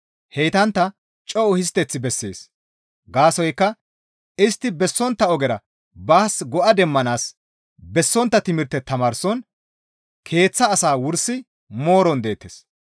Heytantta co7u histteth bessees; gaasoykka istti bessontta ogera baas go7a demmanaas bessontta timirte tamaarson keeththa asaa wursi mooron deettes.